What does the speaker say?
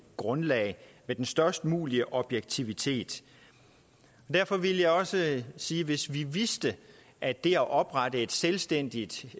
grundlag med den størst mulige objektivitet derfor vil jeg også sige at hvis vi vidste at det at oprette et selvstændigt